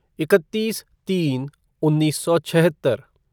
इकत्तीस तीन उन्नीस सौ छिहत्तर